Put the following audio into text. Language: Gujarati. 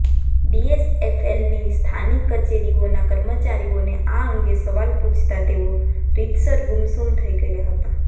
ડીએચએફએલની સ્થાનિક કચેરીઓના કર્મચારીઓને આ અંગે સવાલ પુછતા તેઓ રીતસર ગુમસુમ થઈ ગયા હતા